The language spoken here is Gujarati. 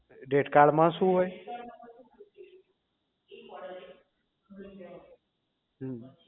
rate card માં શું હોય હમ